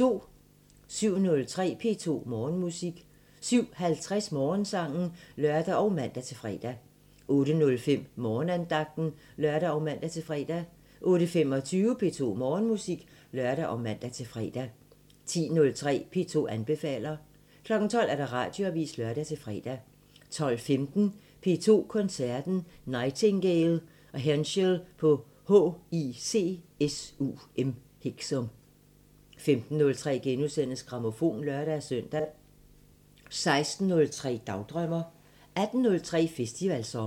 07:03: P2 Morgenmusik 07:50: Morgensangen (lør og man-fre) 08:05: Morgenandagten (lør og man-fre) 08:25: P2 Morgenmusik (lør og man-fre) 10:03: P2 anbefaler 12:00: Radioavisen (lør-fre) 12:15: P2 Koncerten – Nightingale & Henschel på HICSUM 15:03: Grammofon *(lør-søn) 16:03: Dagdrømmer 18:03: Festivalsommer